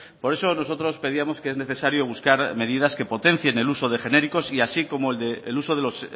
por eso nosotros pedíamos que es necesario buscar medidas que potencien el uso de genéricos y así como el uso de los